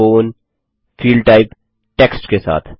phone field type text के साथ